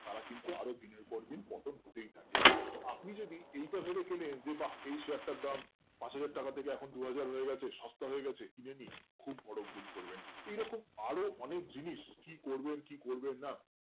তারা কিন্তু আরো দিনের পর দিন পতন হতেই থাকে তো আপনি যদি ইটা ভাবে কিনেন যে বা এই Share তার দাম পাঁচ হাজরা টাকা থেকে এখন দুহাজার হয়ে গেছে সস্তা হয়েগেছে কিনে নি খুব বোরো ভুল করবেন এরকম আরো অনেক জিনিস কি করবেন কি করবেন না